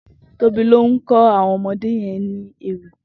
Tobi ló n kò áwòn omõdé yèn ni éwì